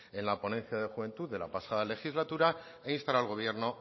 en la ponencia de juventud de la pasada legislatura e instar al gobierno